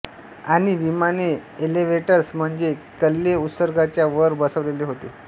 आणि विमाने एलेव्हेटर्स म्हणजे कल्ले उत्सर्गाच्या वर बसवलेले होते